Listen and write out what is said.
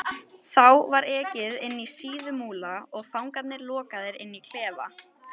Þá var ekið inní Síðumúla og fangarnir lokaðir inní klefa.